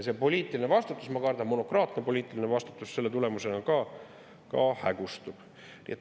Poliitiline vastutus, ma kardan, monokraatne poliitiline vastutus selle tulemusena hägustub.